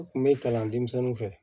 N kun be kalan denmisɛnninw fɛ